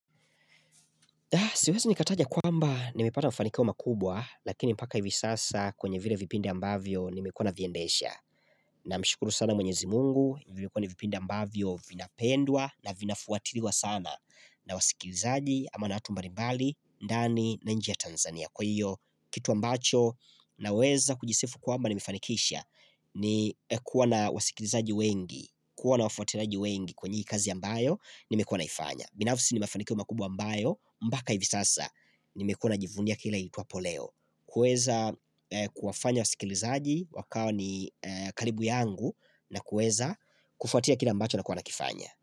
Siwezi nikataja kwamba nimipata mfanikio makubwa, lakini mpaka hivi sasa kwenye vile vipindi ambavyo nimekuwa na viendesha. Na mshukuru sana mwenyezi mungu, vilikuwa na vipindi ambavyo vinapendwa na vinafuatiriwa sana. Na wasikilizaji ama na atumbali mbali, ndani, na nje ya Tanzania. Kwa hiyo, kitu ambacho, na weza kujisifu kwamba nimifanikisha ni kuwa na wasikilizaji wengi, kuwa na wafotiraji wengi kwenye kazi ambayo nimekuwa naifanya. Binafsi ni mafanikio makubwa mbayo mpaka hivi sasa ni mekua na jivunia kila iitwapo leo kuweza kuwafanya wa sikilizaji wakao ni karibu yangu na kueza kufuatia kila ambacho na kuwana kifanya.